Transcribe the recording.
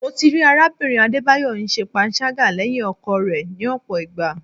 Mo ti rí arábìnrin Adébáyọ̀ ń ṣe panṣágà lẹ́yìn ọkọ rẹ̀ ni ọ̀pọ̀ ìgbà.